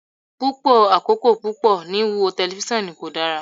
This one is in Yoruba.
Pupọ akoko pupọ ni wiwo tẹlifisiọnu ko dara